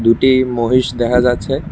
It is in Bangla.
দুটি মহিষ দেহা যাচ্ছে।